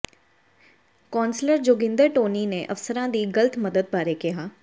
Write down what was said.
councillor Joginder Tony ਨੇ ਅਫਸਰਾਂ ਦੀ ਗਲਤ ਮਦਦ ਬਾਰੇ ਕਿਹਾ